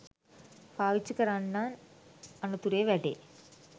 පාවිච්චි කරන්නන් අනතුරේ වැටේ.